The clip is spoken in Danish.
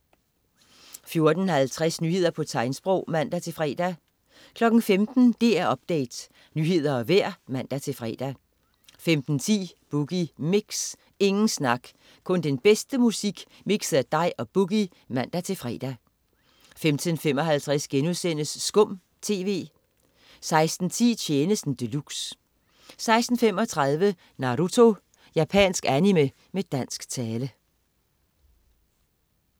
14.50 Nyheder på tegnsprog (man-fre) 15.00 DR Update. Nyheder og vejr (man-fre) 15.10 Boogie Mix. Ingen snak, kun den bedste musik mikset af dig og "Boogie" (man-fre) 15.55 Skum TV* 16.10 Tjenesten de luxe 16.35 Naruto. Japansk animé med dansk tale